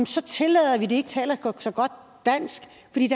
så tillader at de ikke taler så godt dansk